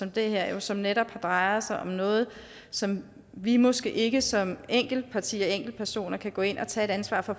det her som netop drejer sig om noget som vi måske ikke som enkeltparti og enkeltpersoner kan gå ind og tage et ansvar for